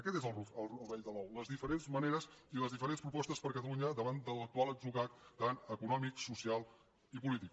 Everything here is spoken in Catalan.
aquest és el rovell de l’ou les diferents maneres i les diferents propostes per a catalunya davant de l’actual atzucac econòmic social i polític